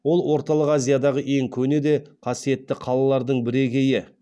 ол орталық азиядағы ең көне де қасиетті қалалардың бірегейі